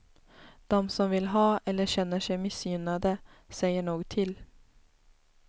Dom som vill ha eller känner sig missgynnade säger nog till.